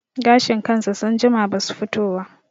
Gashin kansa sun jima basu fito wa